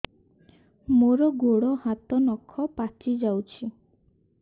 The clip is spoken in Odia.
ମୋର ଗୋଡ଼ ହାତ ନଖ ପାଚି ଯାଉଛି